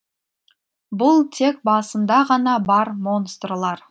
бұл тек басында ғана бар монстрлар